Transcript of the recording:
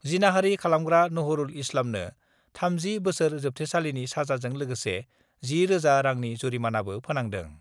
जिनाहारि खालामग्रा नहरुल इस्लामनो 30 बोसोर जोबथेसालिनि साजाजों लोगोसे 10 रोजा रांनि जुरिमानाबो फोनांदों।